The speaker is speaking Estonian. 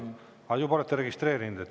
Aa, juba olete registreerinud.